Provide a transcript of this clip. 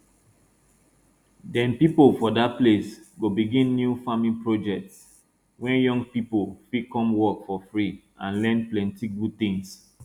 dem pipo for dat place go begin new farming project wey young pipo fit come work for free and learn plenty good tins